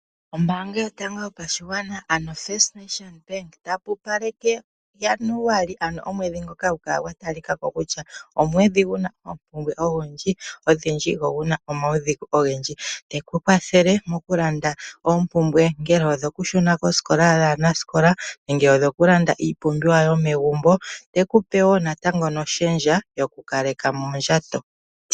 Ombaanga yotango yopashigwana ano First National Bank, otayi pupaleke Januali, ano omwedhi ngoka hagu kala gwatalikako kutya omwedhi guna oompumbwe odhindji, go guna omaudhigu ogendji. Otayi kukwathele okulanda oompumbwe ongele odho kushuna koositola yaanasikola, nenge odho kulanda iipumbiwa yomegumbo, teku pe wo natango noshendja yokukaleka mondjato.